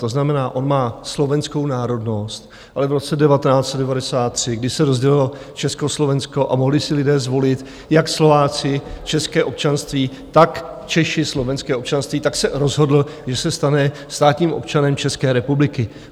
To znamená, on má slovenskou národnost, ale v roce 1993, když se rozdělilo Československo a mohli si lidé zvolit, jak Slováci české občanství, tak Češi slovenské občanství, tak se rozhodl, že se stane státním občanem České republiky.